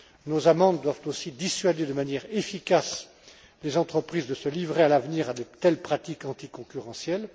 Nos amendes doivent aussi dissuader de manière efficace les entreprises de se livrer à l'avenir à de telles pratiques anticoncurrentielles.